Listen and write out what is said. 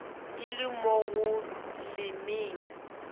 e le mo go lemeng